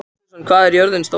Susan, hvað er jörðin stór?